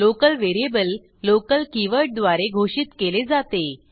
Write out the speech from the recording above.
local variable local keyword द्वारे घोषित केले जाते